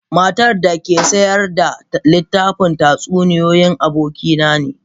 Matar da ke sayar da littafin tatsuniyoyi abokina ne.